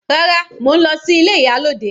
Rárá, mo ń lọ sí ilé ìyálòde.